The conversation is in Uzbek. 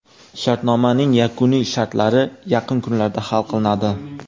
Shartnomaning yakuniy shartlari yaqin kunlarda hal qilinadi.